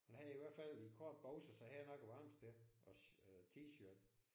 Han har i hvert fald korte bukser så han er nok et varmt sted. Også t-shirt